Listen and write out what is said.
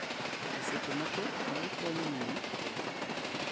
e seche moko mago konyo nyiri kod EdTech